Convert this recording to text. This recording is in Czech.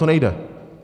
To nejde.